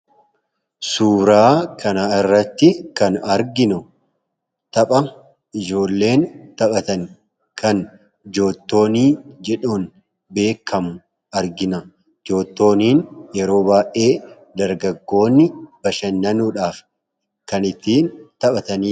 Suuraa kana irratti kan arginu tapha ijoolleen taphatan kan joottoonii jedhamuun beekamu argina joottooniin yeroo baay'ee dargaggoonni bashannanuudhaaf kan ittiin taphatan